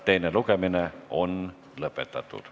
Teine lugemine on lõpetatud.